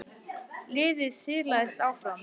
Liðið silaðist áfram.